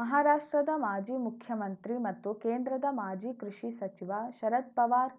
ಮಹಾರಾಷ್ಟ್ರದ ಮಾಜಿ ಮುಖ್ಯಮಂತ್ರಿ ಮತ್ತು ಕೇಂದ್ರದ ಮಾಜಿ ಕೃಷಿ ಸಚಿವ ಶರದ್‌ ಪವಾರ್‌